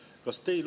Aitäh!